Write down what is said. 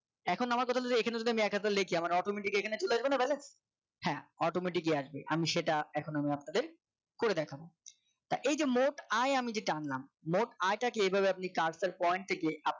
এখন আমার কথা হল এখানে যদি আমি এক হাজার লেখি আমার automatic এখানে চলে আসবে না হ্যাঁ automatic ই আসবে আমি সেটা এখন আমি আপনাদের করে দেখাবো এই যে মোট আয় আমি যেটা আনলাম মোট আই টা কে এভাবে আপনি কাজটার point থেকে